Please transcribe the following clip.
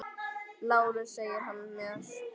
LÁRUS: Segir hann mér!